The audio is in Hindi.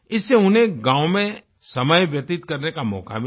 इससे उन्हें गाँव में समय व्यतीत करने का मौका मिला